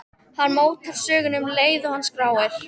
Hann mótar söguna um leið og hann skráir.